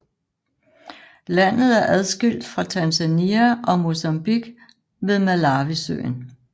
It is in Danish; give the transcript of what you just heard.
Landet er adskilt fra Tanzania og Mozambique ved Malawisøen